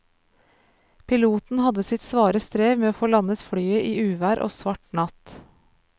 Piloten hadde sitt svare strev med å få landet flyet i uvær og svart natt.